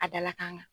A dalakan